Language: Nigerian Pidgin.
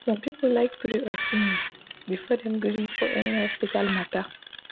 some people like pray or sing before dem gree for any hospital matter.